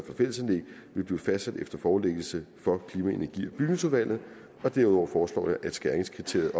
fællesanlæg vil blive fastsat efter forelæggelse for klima energi og bygningsudvalget derudover foreslår jeg at skæringskriteriet